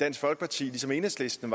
dansk folkeparti ligesom enhedslisten